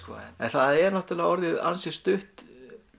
það er orðið ansi stutt